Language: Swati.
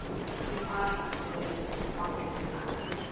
lemandla emmeli macondzana